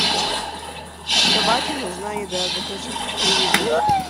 собаке нужна еда закажи пусть привезут